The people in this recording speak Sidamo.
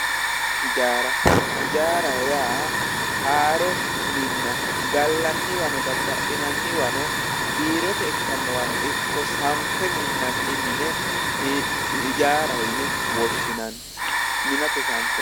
hijaara. hijaaraho yaa haaro minna gallanniwanno daddali'nanniwanno biirote ikkannowano ikko sanfe minanni mine hijaaraho yine woshshinanni minate sanfoonniha